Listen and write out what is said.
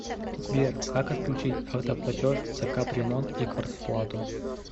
сбер как отключить автоплатеж за капремонт и квартплату